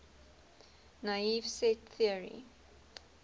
naive set theory